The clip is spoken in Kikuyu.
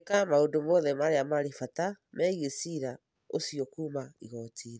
Andĩka maũndũ mothe marĩa marĩ bata megiĩ cira ũciokuuma igooti-inĩ